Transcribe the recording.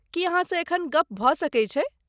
की अहाँसँ एखन गप भऽ सकै छै?